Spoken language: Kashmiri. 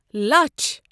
لچَھ